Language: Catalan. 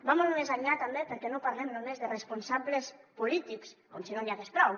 va molt més enllà també perquè no parlem només de responsables polítics com si no n’hi hagués prou